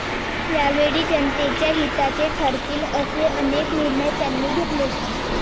या वेळी जनतेच्या हिताचे ठरतील असे अनेक निर्णय त्यांनी घेतले.